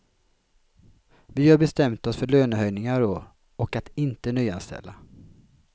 Vi har bestämt oss för lönehöjningar i år, och att inte nyanställa.